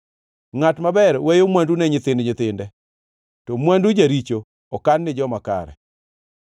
Ngʼat maber weyo mwandu ne nyithind nyithinde, to mwandu jaricho okan ni joma kare.